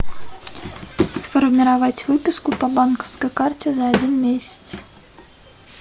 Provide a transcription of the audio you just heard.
сформировать выписку по банковской карте за один месяц